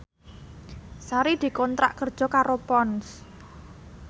Sari dikontrak kerja karo Ponds